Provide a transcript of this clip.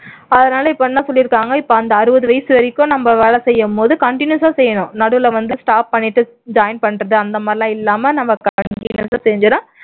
அதனால இப்போ என்ன சொல்லிருக்காங்க இப்போ அந்த அறுபது வயசு வரைக்கும் நம்ம வேலை செய்யும் போது continues ஆ செய்யணும் நடுவுல வந்து stop பண்ணிட்டு join பண்றது அந்த மாதிரி எல்லாம் இல்லாம நாம continues ஆ செஞ்சோம்னா